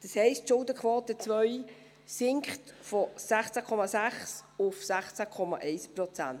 Das heisst, die Schuldenquote II sinkt von 16,6 auf 16,1 Prozent.